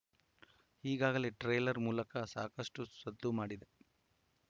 ಈಗಾಗಲೇ ಟ್ರೇಲರ್‌ ಮೂಲಕ ಸಾಕಷ್ಟುಸದ್ದು ಮಾಡಿದೆ